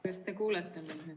Kas te kuulete mind?